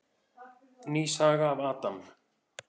Ný saga af Adam.